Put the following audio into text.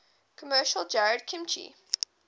commercial jarred kimchi